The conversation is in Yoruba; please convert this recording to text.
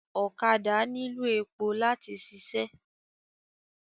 Ọ̀kadà nílò èpò láti ṣiṣẹ́